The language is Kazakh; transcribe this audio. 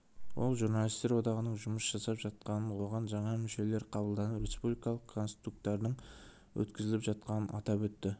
ол журналистер одағының жұмыс жасап жатқанын оған жаңа мүшелер қабылданып республикалық конкурстардың өткізіліп жатқанын атап өтті